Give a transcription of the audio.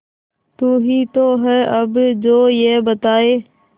तू ही तो है अब जो ये बताए